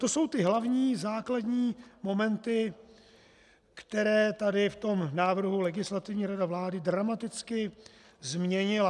To jsou ty hlavní, základní momenty, které tady v tom návrhu Legislativní rada vlády dramaticky změnila.